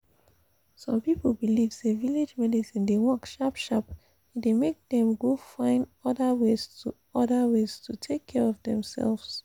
some people believe say village medicine de work sharp sharp e de make them go fine other ways to other ways to take care of themselves.